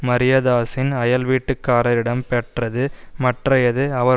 மரியதாஸின் அயல்வீட்டுக்காரரிடம் பெற்றது மற்றையது அவர்